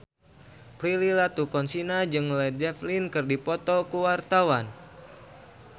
Prilly Latuconsina jeung Led Zeppelin keur dipoto ku wartawan